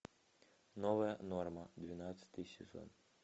новая норма двенадцатый сезон